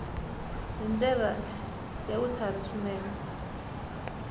hi ndlela ya vutlhari swinene